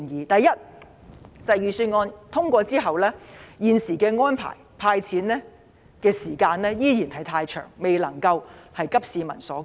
第一，在預算案通過後，現時政府提出的"派錢"安排所需的時間依然太長，未能急市民所急。